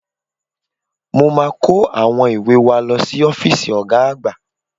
Mo máa kó àwọn ìwé wa lọ sí ọ́fíìsì Ọ̀ga àgbà